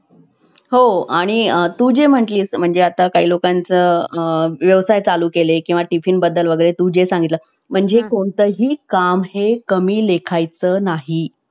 गोड बोलावे, हसतमुख असावे. जीभ गोड तर सारे गोड. मित्रमंडळी जोड. झटून अभ्यास कर. आईबापांची आठवण ठेव. ही आठवण तुला तारील. सन्मार्गावर ठेवील. जा